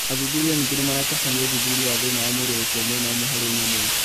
Athuthuria ningĩ nimaratabania ũthuthuria wa thĩna wa mwĩrĩ gũkua mwena ũmwe harĩ nyamũ